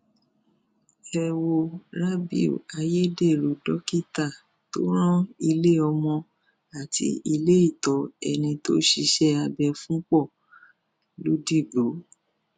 ẹ wo rábiù ayédèrú dókítà tó rán iléọmọ àti iléìtọ ẹni tó ṣiṣẹ abẹ fún pọ lodigbo